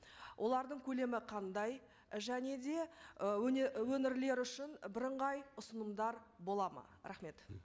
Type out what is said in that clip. олардың көлемі қандай және де і өңірлер үшін бірыңғай ұсынымдар болады ма рахмет